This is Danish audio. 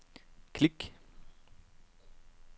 klik